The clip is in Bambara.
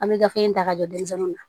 An bɛ gafe in ta ka don denmisɛnninw na